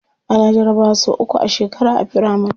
Ana jarabawa sau uku a shekara a firamari.